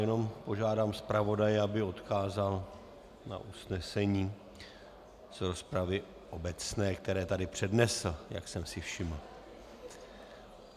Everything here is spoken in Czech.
Jenom požádám zpravodaje, aby odkázal na usnesení z rozpravy obecné, které tady přednesl, jak jsem si všiml.